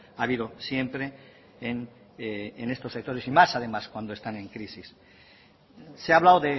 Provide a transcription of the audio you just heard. ha habido siempre en estos sectores y más además cuando están en crisis se ha hablado